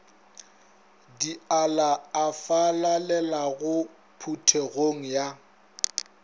dialla a falalelago phuthegong ya